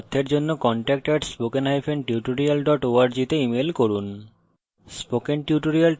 এই বিষয়ে বিস্তারিত তথ্যের জন্য contact @spokentutorial org তে ইমেল করুন